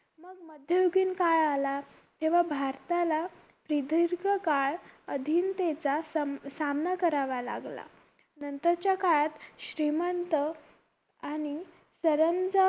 मध्ययुगीन काळ आला तेव्हा भारताला प्रदीर्घ काळ अधिनतेचा सामना करावा लागला नंतरच्या काळात श्रीमंत आणि सरंजा